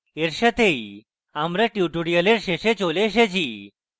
এর সাথেই আমরা tutorial শেষে চলে এসেছি